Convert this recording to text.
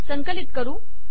संकलित करू